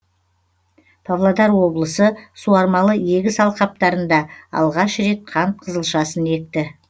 павлодар облысы суармалы егіс алқаптарында алғаш рет қант қызылшасын екті